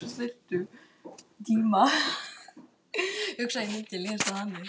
Enginn hér á vellinum dáist að þér.